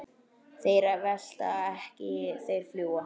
Þeir velta ekki, þeir fljúga.